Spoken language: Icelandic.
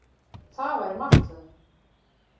Það væri martröð.